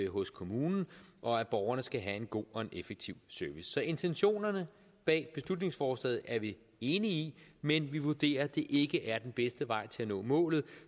hos kommunen og at borgerne skal have en god og effektiv service så intentionerne bag beslutningsforslaget er vi enige i men vi vurderer at det ikke er den bedste vej til at nå målet